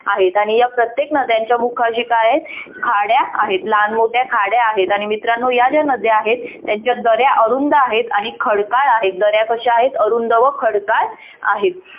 आहेत आणि या प्रत्येक नद्यांच्या मुखाशी काय आहे खाड्या आहेत लहान मोठ्या खाड्या आहेत आणि मित्रांनो या ज्या नद्या आहेत त्यांच्या दऱ्या अरुंद आहेत आणि खडकाळ आहेत दर्या कशा आहेत अरुंद व खडकाळ आहेत.